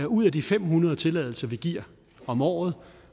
ud af de fem hundrede tilladelser vi giver om året